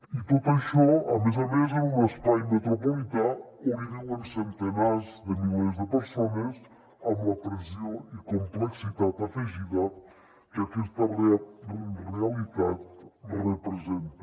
i tot això a més a més en un espai metropolità on viuen centenars de milers de persones amb la pressió i complexitat afegida que aquesta realitat representa